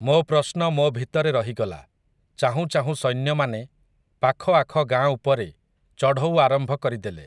ମୋ ପ୍ରଶ୍ନ ମୋ ଭିତରେ ରହିଗଲା, ଚାହୁଁ ଚାହୁଁ ସୈନ୍ୟମାନେ, ପାଖଆଖ ଗାଁ ଉପରେ, ଚଢ଼ଉ ଆରମ୍ଭ କରିଦେଲେ ।